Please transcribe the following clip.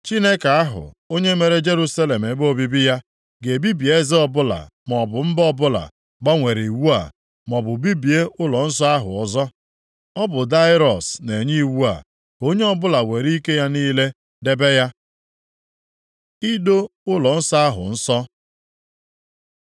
Chineke ahụ, onye mere Jerusalem ebe obibi ya, ga-ebibi eze ọbụla maọbụ mba ọbụla gbanwere iwu a, maọbụ bibie ụlọnsọ ahụ ọzọ. Ọ bụ Daraiọs na-enye iwu a. Ka onye ọbụla were ike ya niile debe ya. Ido ụlọnsọ ahụ nsọ